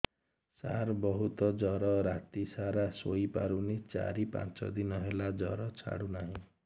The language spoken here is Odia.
ସାର ବହୁତ ଜର ରାତି ସାରା ଶୋଇପାରୁନି ଚାରି ପାଞ୍ଚ ଦିନ ହେଲା ଜର ଛାଡ଼ୁ ନାହିଁ